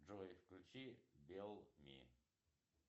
джой включи белл ми